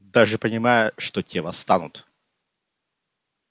даже понимая что те восстанут